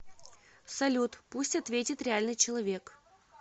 салют пусть ответит реальный человек